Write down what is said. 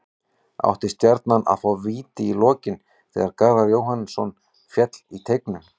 Átti Stjarnan að fá víti í lokin þegar Garðar Jóhannsson féll í teignum?